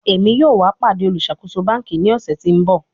Emi yoo wa pade oluṣakoso banki ni ọsẹ ti n bọ